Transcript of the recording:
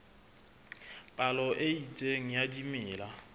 palo e itseng ya dimela